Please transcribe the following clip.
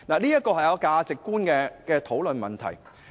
這關乎價值觀的討論。